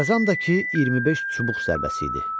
Cəzam da ki, 25 çubuq zərbəsi idi.